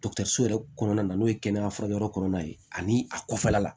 so yɛrɛ kɔnɔna na n'o ye kɛnɛya furakɛyɔrɔ kɔnɔna ye ani a kɔfɛla la